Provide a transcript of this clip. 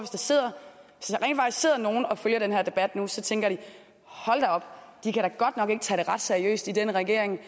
at sidder nogle og følger den her debat nu så tænker de hold da op de kan da godt nok ikke tage det ret seriøst i den regering at